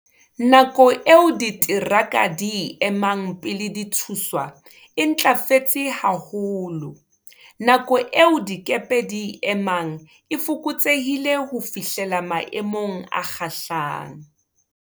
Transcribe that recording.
Nako eo diteraka di e emang pele di thuswa e ntlafetse ha holo. Nako eo dikepe di e emang e fokotsehile ho fihlela maemong a kgahlang.